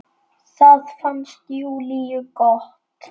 Það fannst Júlíu gott.